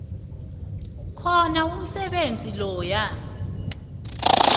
khona umsebenzi loyo